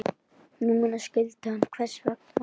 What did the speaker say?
Núna skildi hann hvers vegna.